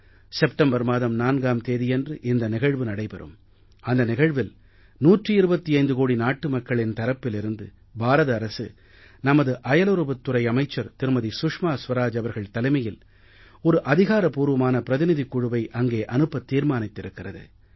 September மாதம் 4ஆம் தேதியன்று இந்த நிகழ்வு நடைபெறும் அந்த நிகழ்வில் 125 கோடி நாட்டுமக்களின் தரப்பிலிருந்து பாரத அரசு நமது அயலுறவுத் துறை அமைச்சர் திருமதி சுஷ்மா ஸ்வராஜ் அவர்கள் தலைமையில் ஒரு அதிகாரபூர்வமான பிரதிநிதிக் குழுவை அங்கே அனுப்பத் தீர்மானித்திருக்கிறது